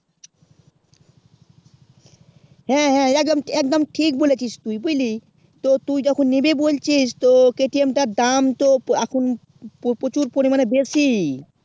হেঁ হেঁ একদম একদম ঠিক বলেছিস তুই বুঝলি তো তুই যখন নিবি বলছিস k t m তার দাম তো এখন প্রচুর পরিমাণে বেশি